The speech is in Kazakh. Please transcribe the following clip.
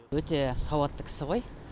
өте сауатты кісі ғой